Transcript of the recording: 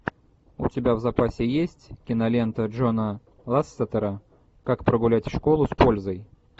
у тебя в запасе есть кинолента джона лассетера как прогулять школу с пользой